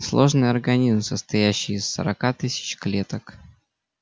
сложный организм состоящий из сорока тысяч клеток